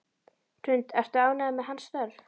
Hrund: Ertu ánægður með hans störf?